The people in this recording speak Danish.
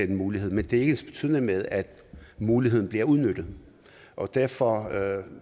den mulighed men det er ikke ensbetydende med at muligheden bliver udnyttet og derfor